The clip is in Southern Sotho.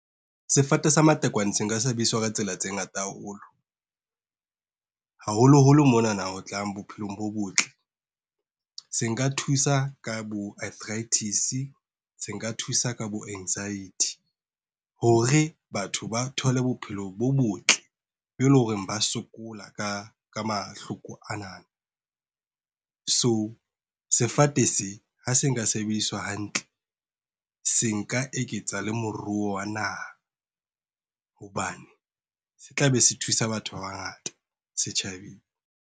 Sefate sa matekwane se nka sebediswa ka tsela tse ngata haholo. Haholoholo mona ho tsa bophelong bo botle. Se nka thusa ka bo-arthritis, se nka thusa ka bo-anxiety. Hore batho ba thole bophelo bo botle be e leng hore ba sokola ka mahloko ana. So sefate se ha se nka sebediswa hantle, se nka eketsa le moruo wa naha, hobane se tla be se thusa batho ba bangata setjhabeng.